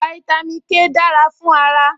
Fáítámì K dára fún ara